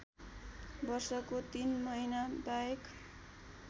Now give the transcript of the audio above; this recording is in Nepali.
वर्षको ३ महिनाबाहेक